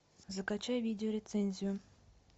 закачай видеорецензию